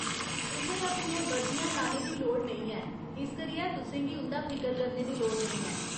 तुसें अपनियां बर्दियां लाने दी लोड़ नेईं ऐ, इस करियै तुसें गी उं'दा फिकर करने दी लोड़ नेईं ऐ।